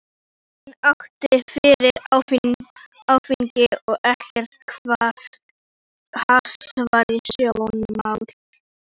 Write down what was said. Enginn átti fyrir áfengi og ekkert hass var í sjónmáli.